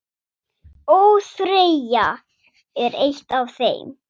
ÓÞREYJA er eitt af þeim.